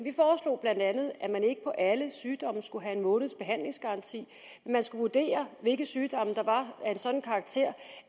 at alle sygdomme skulle have en måneds behandlingsgaranti man skulle vurdere hvilke sygdomme der var af en sådan karakter